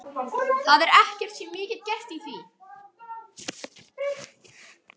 Það er ekkert sem ég get gert í því.